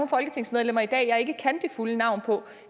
folketingsmedlemmer i dag jeg ikke kan det fulde navn på